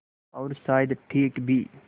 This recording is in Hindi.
और शायद ठीक भी